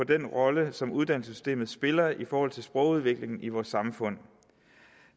den rolle som uddannelsessystemet spiller i forhold til sprogudviklingen i vores samfund